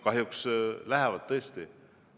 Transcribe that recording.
Kahjuks lähevad tõesti kinni.